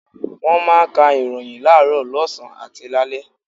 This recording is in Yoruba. Wọ́n máa ń ka ìròyìn láàárọ̀, lọ́sàn-án àti lálẹ́.